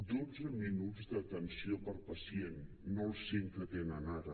dotze minuts d’atenció per pacient no els cinc que tenen ara